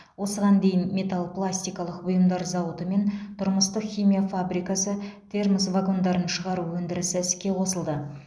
осыған дейін метал пластикалық бұйымдар зауыты мен тұрмыстық химия фабрикасы термос вагондарын шығару өндірісі іске қосылды